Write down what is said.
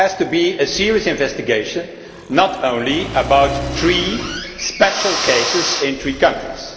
It has to be a serious investigation and not just about three special cases in three countries.